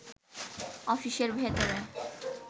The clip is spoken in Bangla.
অফিসের ভেতরে